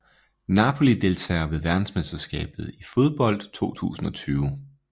Napoli Deltagere ved verdensmesterskabet i fodbold 2022